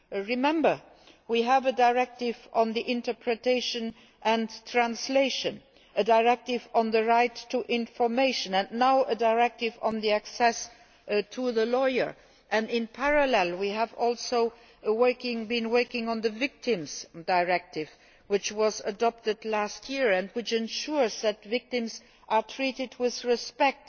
Remember that we have a directive on interpretation and translation, a directive on the right to information and, now, a directive on access to a lawyer and in parallel we have been working on the Victims Directive, which was adopted last year and which ensures that victims are treated with respect,